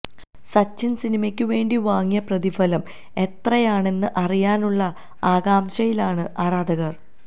സച്ചിന് സിനിമയ്ക്ക് വേണ്ടി വാങ്ങിയ പ്രതിഫലം എത്രയാണെന്ന് അറിയാനുള്ള ആകാംഷയിലാണ് ആരാധകര്